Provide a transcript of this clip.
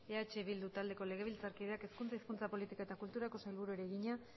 eh bildu taldeko legebiltzarkideak hezkuntza hizkuntza politika eta kulturako sailburuari egina